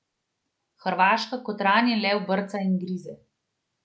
Hrvaška kot ranjen lev brca in grize.